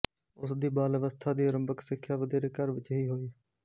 ਉਸ ਦੀ ਬਾਲ ਅਵਸਥਾ ਦੀ ਅਰੰਭਕ ਸਿੱਖਿਆ ਵਧੇਰੇ ਘਰ ਵਿੱਚ ਹੀ ਹੋਈ